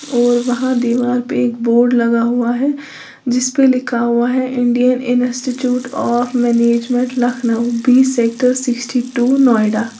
और वहां दीवार पे एक बोर्ड लगा हुआ है जिस पे लिखा हुआ है Indian institute of management Lucknow B sector sixty two Noida.